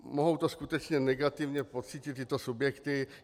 Mohou to skutečně negativně pocítit tyto subjekty.